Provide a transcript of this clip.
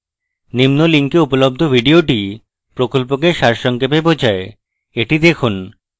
নিম্ন link উপলব্ধ video প্রকল্পকে সারসংক্ষেপে বোঝায় the দেখুন